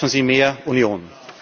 Schaffen Sie mehr Union!